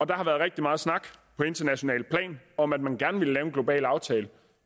der har været rigtig meget snak på internationalt plan om at man gerne ville lave en global aftale